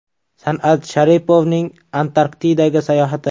San’at Sharipovning Antarktidaga sayohati.